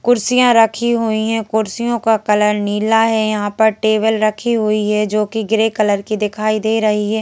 कुर्सियां रखी हुई हैं कुर्सियों का कलर नीला है यहां पर टेबल रखी हुई है जो कि ग्रे कलर की दिखाई दे रही है।